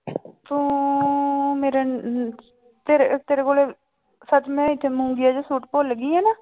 ਤੂੰ ਮੇਰੇ ਤੇਰੇ ਤੇਰੇ ਕੋਲੇ ਸੱਚ ਮੈਂ ਇੱਥੇ ਮੂੰਗੀਆ ਜਿਹਾ ਸੂਟ ਭੁੱਲ ਗਈ ਹਾਂ ਨਾ।